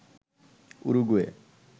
Uruguay